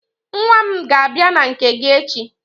Nwa m ga-abia na nke gị echi.